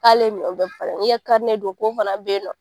K'ale minɛn bɛɛ n k'i ka do k'o fana bɛ ye.